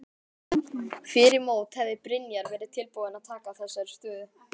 Fyrir mót hefði Brynjar verið tilbúinn að taka þessari stöðu?